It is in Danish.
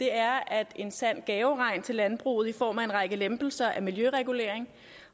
er at en sand gaveregn til landbruget i form af en række lempelser af miljøreguleringen